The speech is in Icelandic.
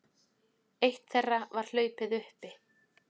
Eitt þeirra var hlaupið uppi